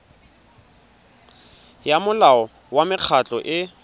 ya molao wa mekgatlho e